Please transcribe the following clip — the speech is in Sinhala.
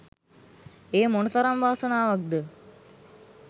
එය මොන තරම් වාසනාවක්ද?